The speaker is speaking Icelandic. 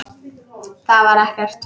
Það var ekkert.